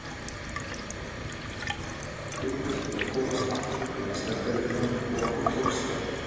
Við þurftum að komast aftur í Meistaradeildina og okkur tókst það.